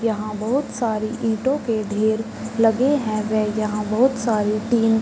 यहाँ बहोत सारे ईटो के ढेर लगे हैं। यहाँ बहोत सारे टिन --